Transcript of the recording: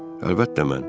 Əlbəttə mən.